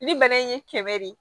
Ni bana in ye kɛmɛ de ye